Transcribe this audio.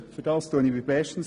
Dafür danke ich bestens.